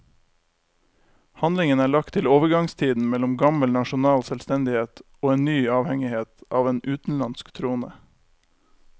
Handlingen er lagt til overgangstiden mellom gammel nasjonal selvstendighet og en ny avhengighet av en utenlandsk trone.